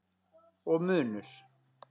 Og munnur